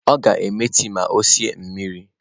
Ọ ga-eme tii ma ọ sie mmiri.